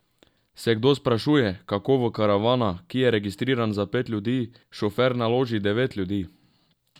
Se kdo sprašuje, kako v karavana, ki je registriran za pet ljudi, šofer naloži devet ljudi?